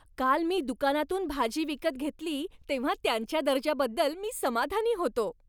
काल मी दुकानातून भाजी विकत घेतली तेव्हा त्यांच्या दर्जाबद्दल मी समाधानी होतो.